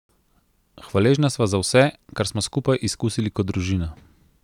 Hvaležna sva za vse, kar smo skupaj izkusili kot družina.